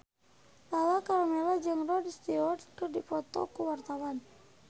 Lala Karmela jeung Rod Stewart keur dipoto ku wartawan